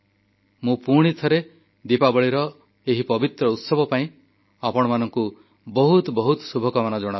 ମୁଁ ପୁଣିଥରେ ଦୀପାବଳିର ଏହି ପବିତ୍ର ଉତ୍ସବ ପାଇଁ ଆପଣମାନଙ୍କୁ ବହୁତ ବହୁତ ଶୁଭକାମନା ଜଣାଉଛି